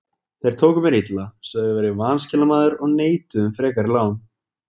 Þeir tóku mér illa, sögðu að ég væri vanskilamaður og neituðu um frekari lán.